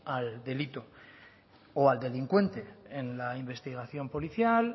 al delito o al delincuente en la investigación policial